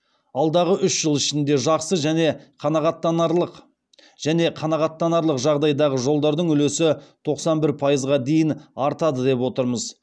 алдағы үш жыл ішінде жақсы және қанағаттанарлық жағдайдағы жолдардың үлесі тоқсан бір пайызға дейін артады деп отырмыз